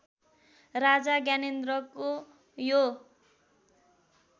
राजा ज्ञानेन्द्रको यो